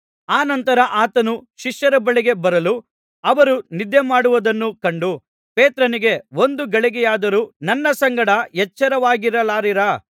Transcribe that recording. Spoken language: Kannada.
ಅನಂತರ ಆತನು ಶಿಷ್ಯರ ಬಳಿಗೆ ಬರಲು ಅವರು ನಿದ್ದೆಮಾಡುವುದನ್ನು ಕಂಡು ಪೇತ್ರನಿಗೆ ಒಂದು ಗಳಿಗೆಯಾದರೂ ನನ್ನ ಸಂಗಡ ಎಚ್ಚರವಾಗಿರಲಾರಿರಾ